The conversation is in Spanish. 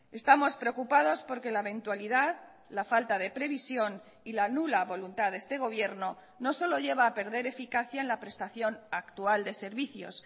estamos preocupados porque la eventualidad la falta de previsión y la nula voluntad de este gobierno no solo lleva a perder eficacia en la prestación actual de servicios